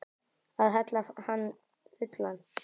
Að hella hann fullan.